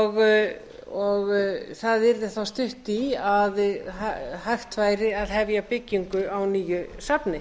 náttúruminjasafnsins og það yrði þá stutt í að hægt væri að hefja byggingu á nýju safni